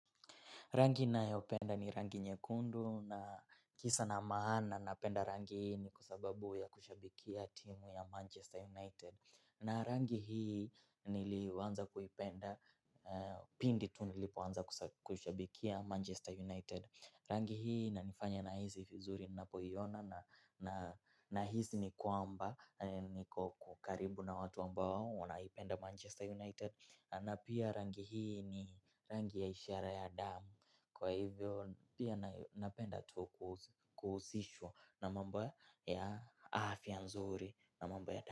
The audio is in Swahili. Rangi nayo penda ni rangi nyekundu na kisa na maana napenda rangi ni kwa sababu ya kushabikia timu ya Manchester United. Na rangi hii niliwanza kuipenda pindi tunilipoanza kushabikia Manchester United. Rangi hii inanifanya nahizi fizuri na pohiyona na hizi ni kwamba ni kukaribu na watu ambao wanaipenda Manchester United. Na pia rangi hii ni rangi ya ishara ya damu. Kwa hivyo pia napenda tu kuhuzisho na mambo ya afia nzuri na mambo ya damu.